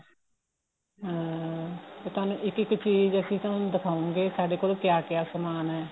ਹਾਂ ਤੇ ਤੁਹਾਨੂੰ ਇੱਕ ਇੱਕ ਚੀਜ਼ ਅਸੀਂ ਤੁਹਾਨੂੰ ਦਿਖਾਉਗੇ ਸਾਡੇ ਕੋਲ ਕਿਆ ਕਿਆ ਸਮਾਨ ਏ